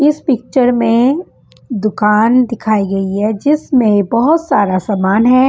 इस पिक्चर में दुकान दिखाई गई है जिसमें बहोत सारा सामान है।